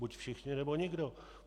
Buď všichni, nebo nikdo.